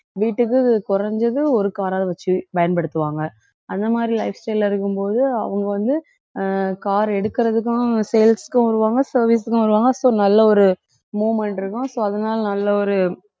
வீட்டுக்கு குறைஞ்சது ஒரு car அ வச்சு பயன்படுத்துவாங்க அந்த மாதிரி life style ல இருக்கும்போது அவங்க வந்து அஹ் car எடுக்கறதுக்கும் sales க்கும் வருவாங்க service க்கும் வருவாங்க so நல்ல ஒரு movement இருக்கும் so அதனால நல்ல ஒரு